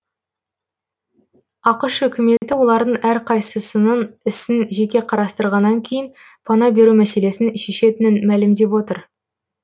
ақш үкіметі олардың әрқайсысының ісін жеке қарастырғаннан кейін пана беру мәселесін шешетінін мәлімдеп отыр